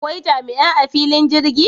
Akwai jami'ai a fillin jirgi?